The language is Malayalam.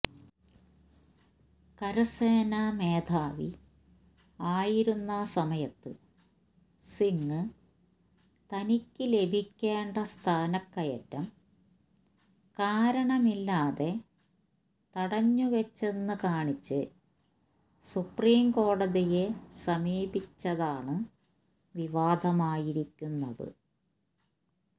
കരസേനാ മേധാവി ആയിരുന്ന സമയത്ത് സിങ് തനിക്ക് ലഭിക്കേണ്ട സ്ഥാനക്കയറ്റം കാരണമില്ലാതെ തടഞ്ഞുവച്ചെന്ന് കാണിച്ച് സുപ്രീം കോടതിയെ സമീപിച്ചതാണ് വിവാദമായിരിക്കുന്നത്